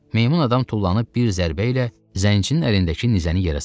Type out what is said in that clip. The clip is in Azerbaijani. Meymun adam tullanıb bir zərbə ilə zəncini əlindəki nizəni yerə saldı.